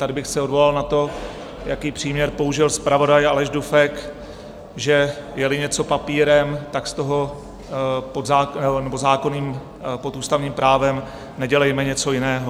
Tady bych se odvolal na to, jaký příměr použil zpravodaj Aleš Dufek, že je-li něco papírem, tak z toho pod ústavním právem nedělejme něco jiného.